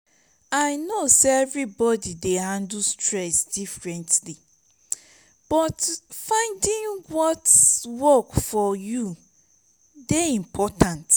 i know say everybody dey handle stress differently but finding what work for you dey important.